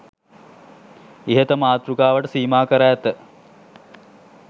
ඉහත මාතෘකාවට සීමා කර ඇත